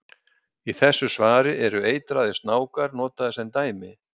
Í þessu svari eru eitraðir snákar notaðir sem dæmi.